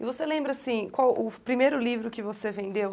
E você lembra assim qual o primeiro livro que você vendeu?